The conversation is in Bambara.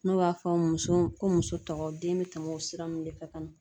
N'o b'a fɔ musow ko muso tɔgɔ den be tɛmɛ o sira nunnu de fɛ ka na